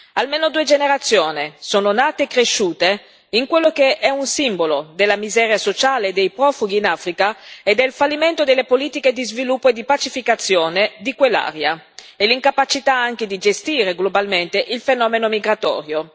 Almeno due generazioni sono nate e cresciute in quello che è un simbolo della miseria sociale dei profughi in Africa, del fallimento delle politiche di sviluppo e di pacificazione di quell'area e dell'incapacità, anche, di gestire globalmente il fenomeno migratorio.